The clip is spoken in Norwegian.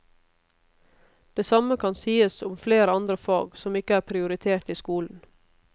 Det samme kan sies om flere andre fag som ikke er prioritert i skolen.